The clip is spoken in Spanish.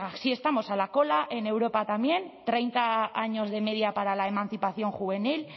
así estamos a la cola en europa también treinta años de media para la emancipación juvenil